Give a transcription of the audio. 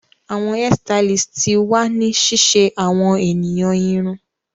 Awọn hairstylist ti wa ni ṣiṣe awọn eniyan irun